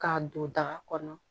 K'a don daga kɔnɔ